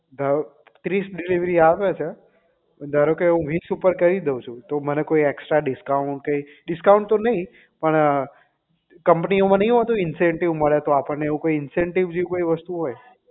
ધારો ત્રીસ delivery આવે છે ધારો કે હું વીસ ઉપર કરી દઉં છું તો મને કોઈ એક્સટ્રા discount કે discount તો નહીં પણ company ઓ માં નહીં હોતું incentive મળે તો આપણને એવું કઈ incentive જેવી કોઈ વસ્તુ હોય